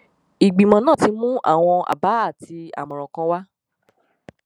ìgbìmọ náà ti mú àwọn àbá àti àmọràn kan wá